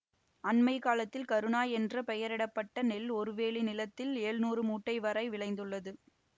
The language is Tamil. அண்மை காலத்தில் கருணா என்று பெயரிட பட்ட நெல் ஒருவேலி நிலத்தில் எழ்நூறு மூட்டை வரை விளைந்துள்ளது